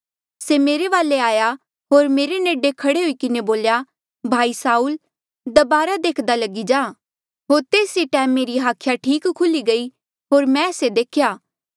से मेरे वाले आया होर मेरे नेडे खड़े हुई किन्हें बोल्या भाई साऊल दबारा देख्दा लगी जा होर तेस ई टैम मेरी हाखिया ठीक खुली गई होर मैं से देख्या